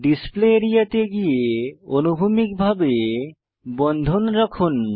display area তে গিয়ে অনুভূমিক ভাবে বন্ধন রাখুন